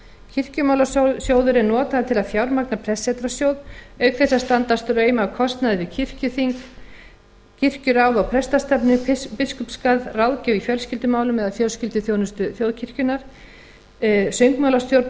kirkjumálasjóður er notaður til að fjármagna prestssetrasjóð auk þess að standa straum af kostnaði við kirkjuþing kirkjuráð og prestastefnu biskupsgarð ráðgjöf í fjölskyldumálum eða fjölskylduþjónustu þjóðkirkjunnar söngmálastjórn og